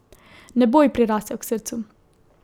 Ne bo ji prirasel k srcu.